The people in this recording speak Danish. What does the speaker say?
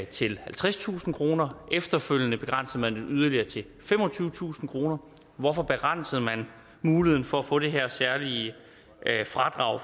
til halvtredstusind kroner året efterfølgende begrænsede man det yderligere til femogtyvetusind kroner hvorfor begrænsede man muligheden for at få det her særlige fradrag